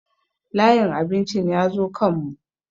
Layin abincin ya zo kan mu